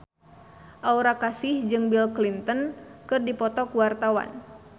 Aura Kasih jeung Bill Clinton keur dipoto ku wartawan